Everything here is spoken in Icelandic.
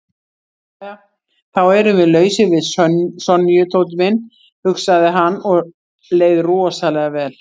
Jæja þá erum við lausir við Sonju, Tóti minn, hugsaði hann og leið rosalega vel.